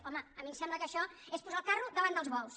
home a mi em sembla que això és posar el carro davant dels bous